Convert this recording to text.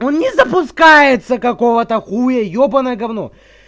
он не запускается какого-то хуя ебанное говно